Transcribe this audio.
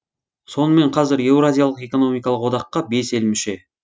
сонымен қазір еуразиялық экономикалық одаққа бес ел мүше